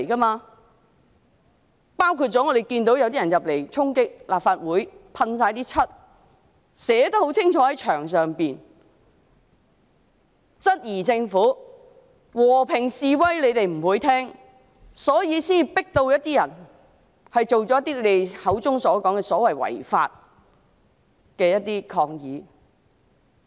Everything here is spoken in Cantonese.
我們看到有人衝擊立法會，四處噴漆，在牆上寫得很清楚，他們質疑政府不理會和平示威，所以才迫使一些人作出你們口中所說的違法抗議。